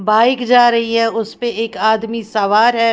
Bike जा रही है उस पे एक आदमी सवार है।